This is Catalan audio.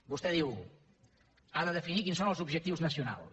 vostè diu ha de definir quins són els objectius nacionals